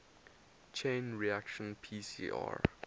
chain reaction pcr